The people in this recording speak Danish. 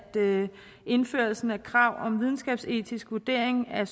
indførelsen af krav om videnskabsetisk vurdering af